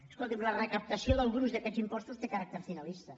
escolti’m la recaptació del gruix d’aquests impostos té caràcter finalista